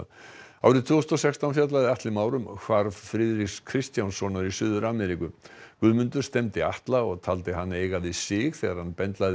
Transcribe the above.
árið tvö þúsund og sextán fjallaði Atli Már um hvarf Friðriks Kristjánssonar í Suður Ameríku Guðmundur stefndi Atla og taldi hann eiga við sig þegar hann bendlaði